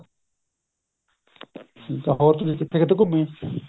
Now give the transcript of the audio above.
ਹੋਰ ਤੁਸੀਂ ਕਿਥੇ ਕਿਥੇ ਘੁੱਮੇ